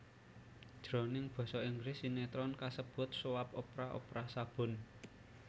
Jroning basa Inggris sinétron kasebut soap opera opera sabun